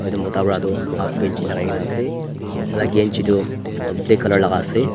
etu mota para tu haft ganzi lagai kena ase tai laga ganzi tu black colour laga ase.